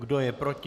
Kdo je proti?